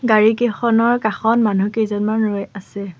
গাড়ীকেইখনৰ কাষত মানুহ কেইজনমান ৰৈ আছে।